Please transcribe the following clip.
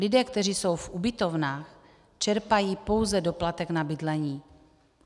Lidé, kteří jsou v ubytovnách, čerpají pouze doplatek na bydlení.